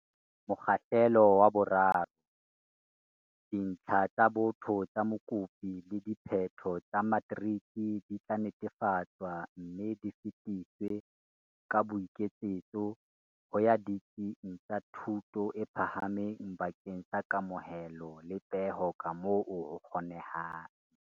Mokgahlelo wa 3. Dintlha tsa botho tsa mokopi le diphetho tsa matriki di tla netefatswa mme di fetiswe ka boiketsetso ho ya ditsing tsa thuto e phahameng bakeng sa kamohelo le peho kamoo ho kgonehang.